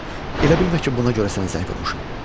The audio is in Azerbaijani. Elə bilmə ki, buna görə sənə zəng vurmuşam.